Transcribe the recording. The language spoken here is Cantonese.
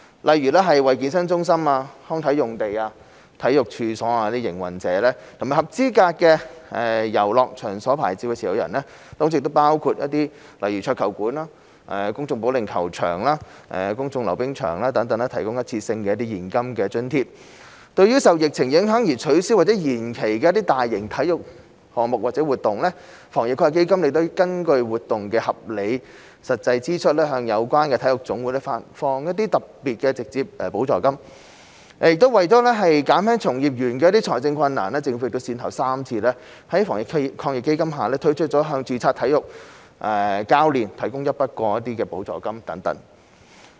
例如為健身中心、康體用地、體育處所的營運者，以及合資格的遊樂場所牌照持有人，提供一次性的現金津貼。對於受疫情影響而取消或延期的大型體育項目和活動，我們根據活動的合理實際支出，向有關的體育總會發放特別直接補助金。為減輕從業員的財政困難，政府先後3次在基金下推出"向註冊體育教練提供一筆過補助金"等。